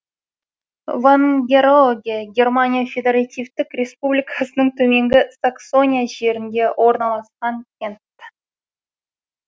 вангероге германия федеративтік республикасының төменгі саксония жерінде орналасқан кент